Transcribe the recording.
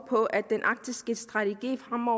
rammer